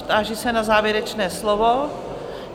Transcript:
Táži se na závěrečné slovo?